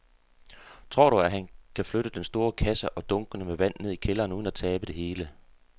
Tror du, at han kan flytte den store kasse og dunkene med vand ned i kælderen uden at tabe det hele?